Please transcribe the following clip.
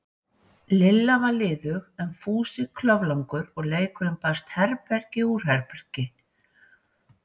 Lilla var liðug en Fúsi kloflangur, og leikurinn barst herbergi úr herbergi.